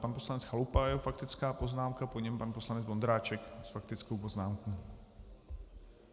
Pan poslanec Chalupa a jeho faktická poznámka, po něm pan poslanec Vondráček s faktickou poznámkou.